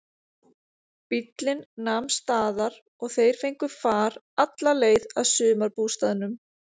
Bíllinn nam staðar og þeir fengu far alla leið að sumarbústaðnum.